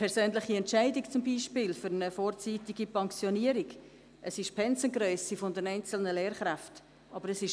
Ich erteile dem Motionär, Grossrat Näf, das Wort.